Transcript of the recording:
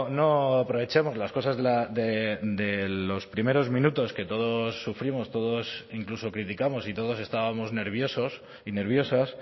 no aprovechemos las cosas de los primeros minutos que todos sufrimos todos incluso criticamos y todos estábamos nerviosos y nerviosas